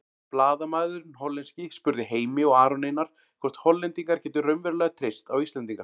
Blaðamaðurinn hollenski spurði Heimi og Aron Einar hvort Hollendingar gætu raunverulega treyst á Íslendinga.